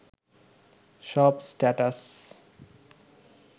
সব স্ট্যাটাস